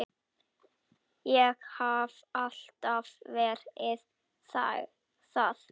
Ég hef alltaf verið það.